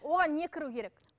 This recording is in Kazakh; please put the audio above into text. оған не кіру керек